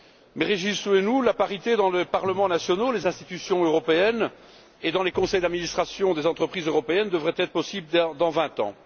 Mais réjouissons nous, la parité dans les parlements nationaux, dans les institutions européennes et dans les conseils d'administration des entreprises européennes devrait être possible dans 20 ans!